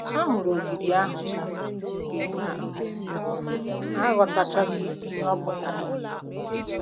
Ha hụrụ ogidi ahụ, ma um ha aghọtachaghị ihe ọ pụtara.